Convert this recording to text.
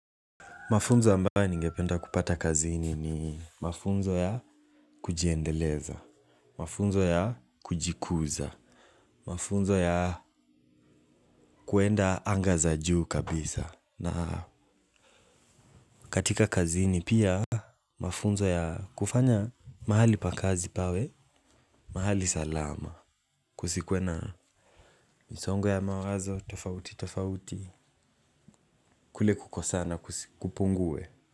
Mafunzo ambayo ningependa kupata kazini ni mafunzo ya kujiendeleza, mafunzo ya kujikuza, mafunzo ya kwenda anga za juu kabisa. Na katika kazini pia mafunzo ya kufanya mahali pa kazi pawe, mahali salama, kusikwe na misongo ya mawazo, tofauti, tofauti, kule kukosana, kupungue.